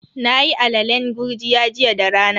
Nayi alalen gurjiya jiya da rana.